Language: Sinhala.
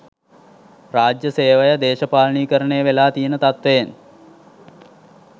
රාජ්‍ය සේවය දේශපාලනීකරණය වෙලා තියෙන තත්වයෙන්